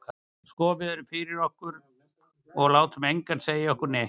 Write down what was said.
Sko við erum fyrir okkur, og látum engan segja okkur neitt.